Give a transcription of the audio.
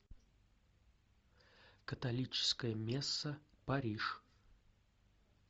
католическая месса париж